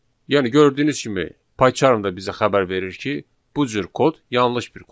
Yəni gördüyünüz kimi, Pycharm da bizə xəbər verir ki, bu cür kod yanlış bir kod.